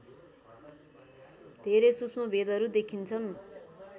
धेरै सूक्ष्म भेदहरू देखिन्छन्